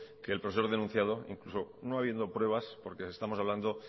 que el profesor denunciado incluso no habiendo pruebas porque estamos hablando